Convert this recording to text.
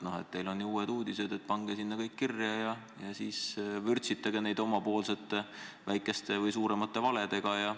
Aga teil on ju Uued Uudised, pange sinna kõik kirja ja vürtsitage neid sõnumeid omapoolsete väikeste või suuremate valedega.